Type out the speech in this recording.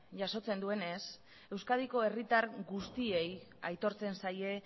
jasotzen duenez euskadiko herritar guztiei aitortzen zaie